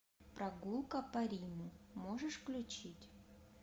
прогулка по риму можешь включить